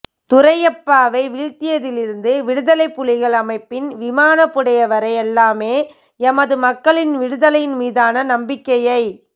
துரையப்பாவை வீழ்த்தியதிலிருந்து விடுதலைப்புலிகள் அமைப்பின் விமானப் புடைவரை எல்லாமே எமது மக்களின் விடுதலையின் மீதான நம்பிக்கையை